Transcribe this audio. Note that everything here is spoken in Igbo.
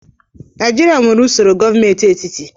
Naijiria nwere usoro gọọmentị etiti